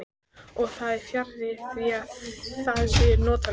Og það er fjarri því að það sé notalegt.